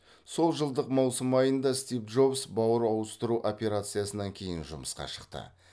сол жылдың маусым айында стив джобс бауыр ауыстыру операциясынан кейін жұмысқа шықты